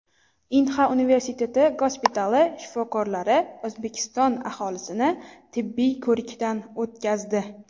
Inha universiteti gospitali shifokorlari O‘zbekiston aholisini tibbiy ko‘rikdan o‘tkazdi.